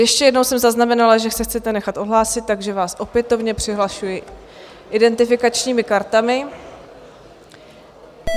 Ještě jednou jsem zaznamenala, že se chcete nechat odhlásit, takže vás opětovně přihlašuji identifikačními kartami.